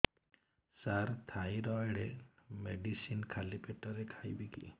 ସାର thyroid medicine ଖାଲି ପେଟରେ ଖାଇବି କି